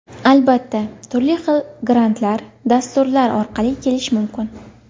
Albatta, turli xil grantlar, dasturlar orqali kelish mumkin.